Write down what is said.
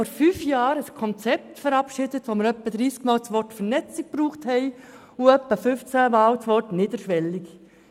Vor fünf Jahren verabschiedeten wir ein Konzept, wobei wir ungefähr dreissigmal das Wort «Vernetzung» gebraucht hatten und etwa fünfzehnmal das Wort «niederschwellig».